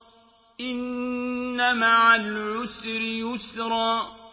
إِنَّ مَعَ الْعُسْرِ يُسْرًا